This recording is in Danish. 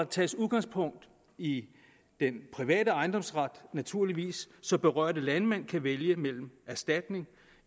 tages udgangspunkt i den private ejendomsret naturligvis så berørte landmænd kan vælge mellem erstatning